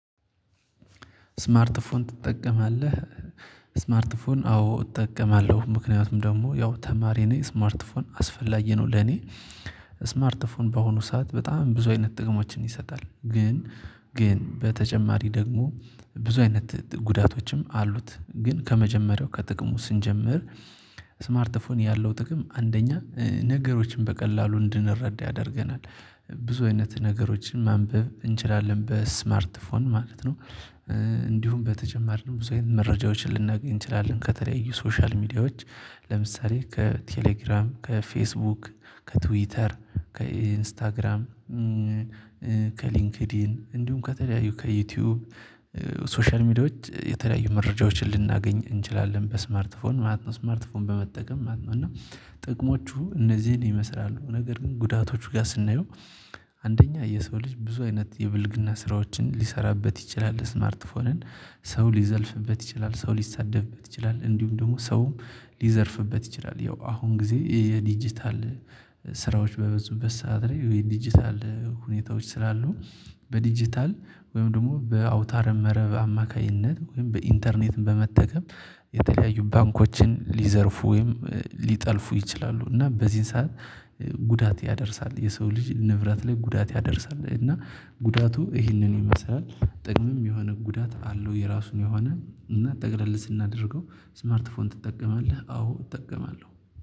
ስማርት ፎን ትጠቀማለህ? ስማርት ፎን አዎ እጠቀማለሁ ምክንያቱም ደግሞ ያው ተማሪ እኔ ስማርት ፎን አስፈላጊ ነው። ለኔ ስማርት ፎን በሆኑ ሰዓት በጣም ብዙ አይነት ጥቅሞችን ይሰጣል ግን ግን በተጨማሪ ደግሞ ብዙ አይነት ጉዳቶችም አሉት ግን ከመጀመሪያው ከጥቅሙ ስንጀምር። ስማርት ፎን ያለው ጥቅም አንደኛ ነገሮችን በቀላሉ እንድንረዳ ያደርገናል። ብዙ አይነት ነገሮችን ማንበብ እንችላለን በስማርት ፎን ማለት ነው። እንዲሁም በተጨማሪ ነው ብዙ መረጃዎችን ልናገኝ እንችላለን ከተለያዩ ሶሻል ሚዲያዎች። ለምሳሌ ከቴሌግራም ከፌስቡክ ከትዊተር ከኢንስታግራም ከሊንክዲን እንዲሁም ከተለያዩ ከዩቲዩብ ሶሻል ሚዲያዎች የተለያዩ መረጃዎችን ልናገኝ እንችላለን። በስማርትፎን ማለት ነው ስማርትፎን በመጠቀም ማለት ነው። እና ጥቅሞቹ እነዚህን ይመስላሉ። ነገር ግን ጉዳቶቹ ጋር ስናየው። አንደኛ የሰው ልጅ ብዙ አይነት የብልግና ስራዎችን ሊሰራበት ይችላል። ስማርት ፎንን ሰው ሊዘልፍበት ይችላል ሰው ሊሳደብበት ይችላል። እንዲሁም ደግሞ ሰውም ሊዘርፍበት ይችላል። ያው አሁን ጊዜ የዲጂታል ስራዎች በብዙበት ሰዓት ላይ የዲጂታል ሁኔታዎች ስላሉ። በዲጂታል ወይም ደግሞ በአውታር መረብ አማካኝነት ወይም በኢንተርኔት በመጠቀም የተለያዩ ባንኮችን ሊዘርፉ ወይም ሊጠልፉ ይችላሉ። እና በዚህን ሰዓት ጉዳት ያደርሳል የሰው ልጅ ንብረት ላይ ጉዳት ያደርሳል። እና ጉዳቱ ይህንን ይመስላል። ጥቅምም የሆነ ጉዳት አለው። የራሱን የሆነ እና ጠቅለል ስናደርገው። ስማርት ፎን ትጠቀማለህ አዎ እጠቀማለሁ